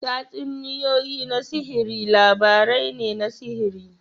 Tatsuniyoyi na sihiri labarai ne na sihiri.